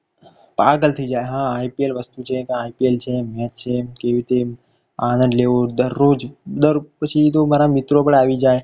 પાગલ થઈ જાય હા IPL વસ્તુ છે IPL છે. match છે કેવી રીતે આનંદ લેવો દરરોજ રોજ પછી બરાબર મિત્રો પણ આવી જાય પછી